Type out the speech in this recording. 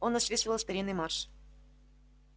он насвистывал старинный марш